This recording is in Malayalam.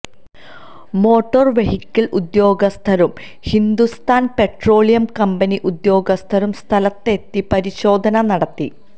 മോട്ടോര് വെഹിക്കിള് ഉദ്യോഗസ്ഥരും ഹിന്ദുസ്ഥാന് പെട്രോളിയം കമ്പനി ഉദ്യോഗസ്ഥരും സ്ഥലത്തെത്തി പരിശോധന നടത്തി